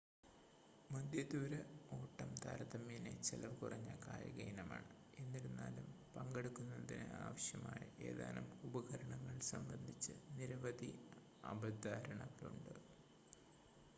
മധ്യ ദൂര ഓട്ടം താരതമ്യേന ചെലവുകുറഞ്ഞ കായിക ഇനമാണ് എന്നിരുന്നാലും പങ്കെടുക്കുന്നതിന് ആവശ്യമായ ഏതാനും ഉപകരണങ്ങൾ സംബന്ധിച്ച് നിരവധി അബദ്ധധാരണകളുണ്ട്